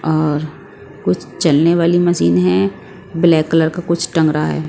और कुछ चलने वाली मशीन है ब्लैक कलर का कुछ टंगरा है।